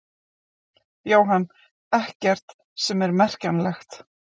Jóhann: Ekkert sem er merkjanlegt?